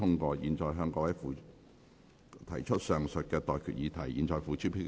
我現在向各位提出上述待決議題，付諸表決。